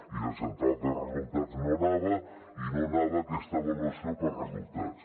i la central de resultats no anava i no anava aquesta avaluació per resultats